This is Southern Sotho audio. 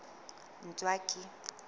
ntswaki